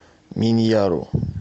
миньяру